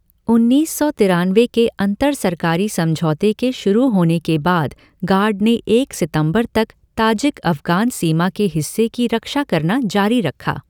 उन्नीस सौ तिरानवे के अंतर सरकारी समझौते के शुरू होने के बाद गार्ड ने एक सितंबर तक ताजिक अफ़गान सीमा के हिस्से की रक्षा करना जारी रखा।